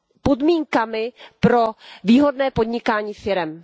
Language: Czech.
podmínkami pro výhodné podnikání firem.